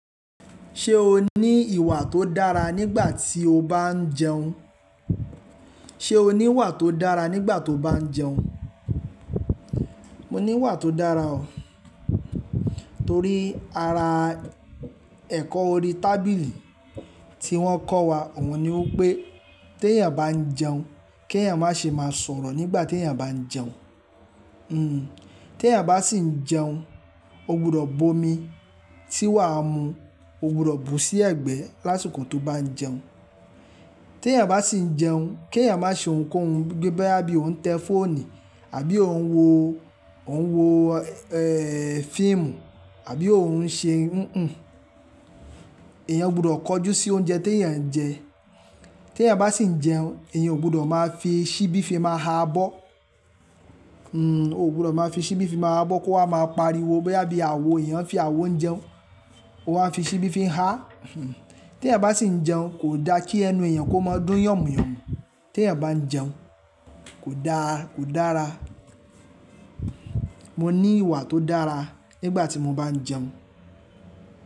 Ṣé o ní ìwà tó dára nígbà tí o bá ń jẹun? Ṣé o ní ìwà tó dára nígbà tí o bá ń jẹun? Mo ní ìwà tó dára o. Torí ara ẹ̀kọ́ orí tábìlì tí wọ́n kọ́ wa. Òun ni wí pé "tí èèyàn bá ń jẹun, kí èèyàn má ṣe máa sọ̀rọ̀ nígbà tí èèyàn bá ń jẹun." Hmm, tí èèyàn bá sì ń jẹun, ó gbọdọ̀ bomi tí wàá mu, ó gbọdọ̀ bù sí ẹ̀gbẹ́ lásìkò tó bá ń jẹun. Tí èèyàn bá sì ń jẹun, kí èèyàn má ṣe ohunkóhun bí i bá bí òun ń tẹ fóònù àbí òun ń wo, òun ń wo, eh, fíìmù àbí òun ń ṣe nnàn. Ẹ̀yàn gbọdọ̀ kọjú sí oúnjẹ tí èèyàn ń jẹ. Tí èèyàn bá sì ń jẹun, èèyàn ò gbọdọ̀ máa fi ṣíbí fi máa ha abọ́. Hmm, ò gbọdọ̀ máa fi ṣíbí fi máa ha abọ́ kó ha máa pariwo bí i bá bí àwo èèyàn fi àwo ń jẹun. Ó wá fi ṣíbí fi ń há. Tí èèyàn bá sì ń jẹun kò da kí ẹnu èèyàn kó máa dún yànmúyànmú. Tí èèyàn bá ń jẹun kò da, kò dára. Mo ní ìwà tó dára nígbà tí mo bá ń jẹun.